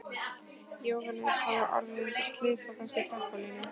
Jóhannes: Hafa orðið einhver slys á þessu trampólíni?